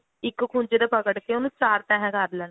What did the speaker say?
ਇੱਕੋ ਖੂੰਜੇ ਤੋਂ ਪਕੜ ਕੇ ਉਹਨੂੰ ਚਾਰ ਤੇਹਾਂ ਕਰ ਲੈਣੀਆਂ